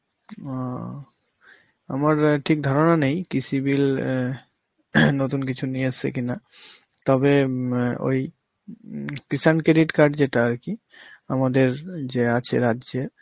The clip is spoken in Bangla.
ও অ, আবার ঠিক ধারণা নেই কৃষি bill অ্যাঁ নতুন কিছু নিয়ে এসেছে, তবে উম ওই উম কৃষাণ credit card যেটা আর কি আমাদের উম যে আছে রাজ্যের,